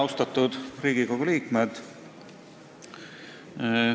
Austatud Riigikogu liikmed!